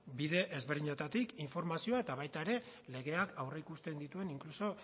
bide ezberdinetatik informazioa eta baita ere legeak aurreikusten dituen inkluso